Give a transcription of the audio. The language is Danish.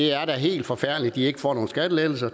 er helt forfærdeligt at de ikke får nogle skattelettelser